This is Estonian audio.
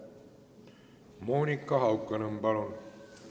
Monika Haukanõmm, palun!